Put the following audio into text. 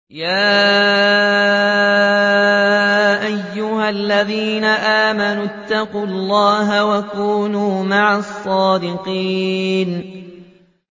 يَا أَيُّهَا الَّذِينَ آمَنُوا اتَّقُوا اللَّهَ وَكُونُوا مَعَ الصَّادِقِينَ